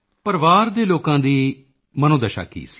ਪਰਿਵਾਰ ਦੇ ਲੋਕਾਂ ਦੀ ਮਨੋਦਸ਼ਾ ਕੀ ਸੀ